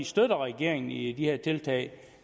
støtter regeringen i de her tiltag